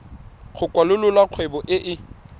go kwalolola kgwebo e e